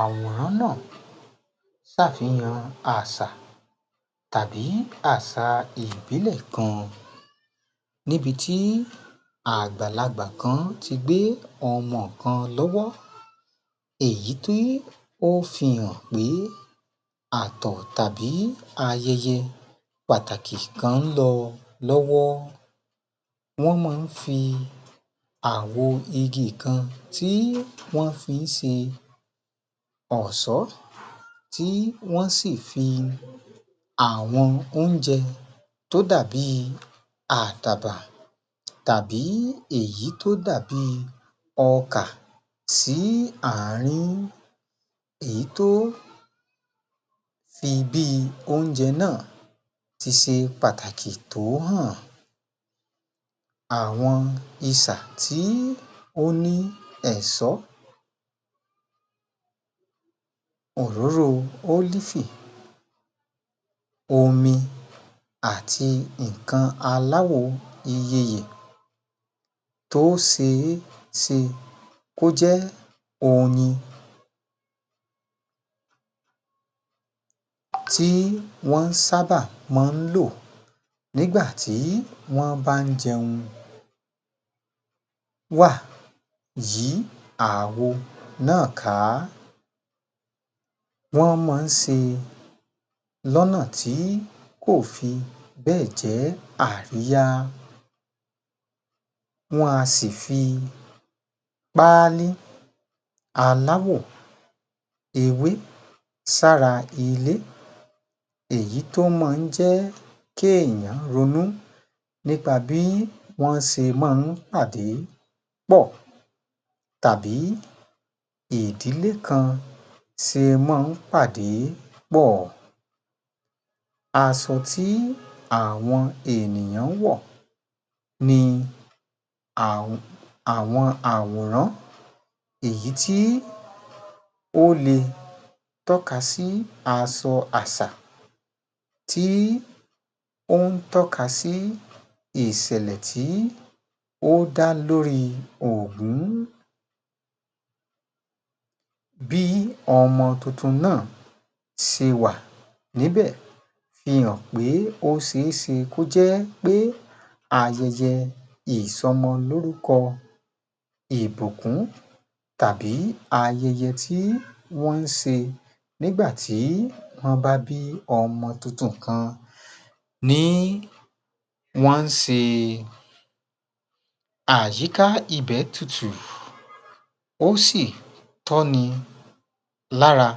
Àwòrán náà ṣàfihàn àṣà tàbí àṣà ìbílẹ̀ kan, níbi tí àgbàlagbà kan ti gbé ọmọ kan lọ́wọ́ èyí tí ó fi hàn pé àtọ̀ tàbí ayẹyẹ pàtàkì kan ń lọ lọ́wọ́, wọ́n máa ń fi àwo igi kan tí wọ́n fi ń ṣe ọ̀ṣọ́, tí wọ́n sì fi àwọn oúnjẹ tó dàbí àdàbà, tàbí èyì tó dàbí ọkà sí àárín. Èyí tó fi bí oúnjẹ náà ti ṣe pàtàkì tó hàn. Àwọn isà tí ó ní ẹ̀ṣọ́ òróró ólífì, omi àti nǹka aláwo iyeyè tó ṣe é ṣe kó jẹ́ oyin tí wọ́n sábà máa ń lò nígbà tí wọ́n bá n jẹun wá yí àwo náà ká, wọ́n máa ń ṣe lọ́nà tí kò fi bẹ́ẹ̀ jẹ́ àríyá. Wọn a sì fi páálí aláwò ewé sára ilé èyí tó máa ń jẹ́ kéèèyàn ronú nípa bí wọ́n ṣe máa ń pàdí pọ̀ tàbí ìdílé kan ṣe máa ń pàdí pọ̀. Aṣọ tí àwọn ènìyàn wọ̀ ni àwọn àwọn àwòrán èyí tí ó lè tọ́ka sí aṣọ àṣà tí ó ń tọ́ka sí ìṣẹ̀lẹ̀ tí ó dá lórí ògún. Bí ọmọ tuntun náà ṣe wà níbẹ̀ fi hàn pé ó ṣe é ṣe kó jẹ́ pé ayẹyẹ ìsọmọlórúkọ, ìbùkún tàbí ayẹyẹ tí wọ́n ń ṣe nígbà tí wọ́n bá bí ọmọ tuntun kan ni wọ́n ń ṣe, àyíká ibẹ̀ tutù, ó sì tọ́ ni lára,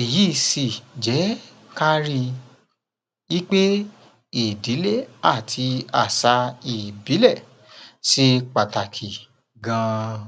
èyí sì jẹ́ ká rí i wípé ìdílé àti àṣà ìbílẹ̀ ṣe pàtàkì gan-an